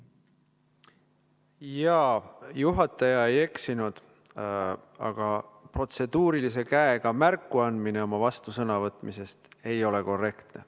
Jaa, juhataja ei eksinud, aga protseduurilise küsimuse soovist märku andmine, kui on vastusõnavõtu soov, ei ole korrektne.